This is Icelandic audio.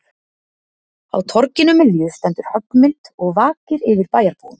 Á torginu miðju stendur höggmynd og vakir yfir bæjarbúum